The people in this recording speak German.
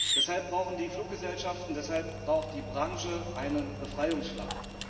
Deshalb brauchen die Fluggesellschaften, deshalb braucht die Branche einen Befreiungsschlag.